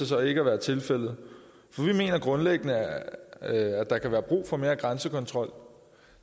så ikke at være tilfældet for vi mener grundlæggende at der kan være brug for mere grænsekontrol